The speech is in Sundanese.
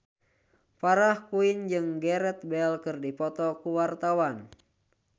Farah Quinn jeung Gareth Bale keur dipoto ku wartawan